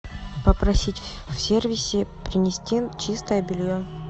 попросить в сервисе принести чистое белье